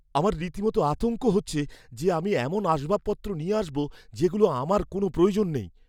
আমার রীতিমতো আতঙ্ক হচ্ছে যে আমি এমন আসবাবপত্র নিয়ে আসব যেগুলোর আমার কোনও প্রয়োজন নেই।